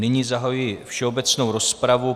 Nyní zahajuji všeobecnou rozpravu.